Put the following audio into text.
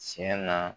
Tiɲɛ na